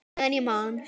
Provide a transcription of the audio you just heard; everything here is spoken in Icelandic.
Meðan ég man!